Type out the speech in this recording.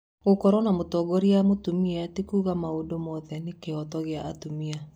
Gũkorwo na mũtongoria mũtumia ti kuuga maũndũ mothe nĩ kĩhooto gĩa atumia.